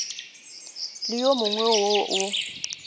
le wo mongwe wo o